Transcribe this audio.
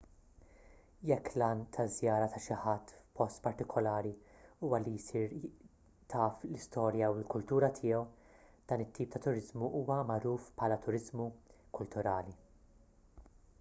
jekk l-għan taż-żjara ta' xi ħadd f'post partikolari huwa li jsir taf l-istorja u l-kultura tiegħu dan it-tip ta' turiżmu huwa magħruf bħala turiżmu kulturali